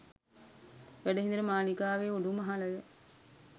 වැඩ හිඳින මාලිගාවේ උඩුමහල ය.